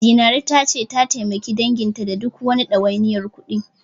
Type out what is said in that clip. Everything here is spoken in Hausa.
Zinaru ta ce, ta taimaki danginta da duk wani ɗawainiyar kuɗi.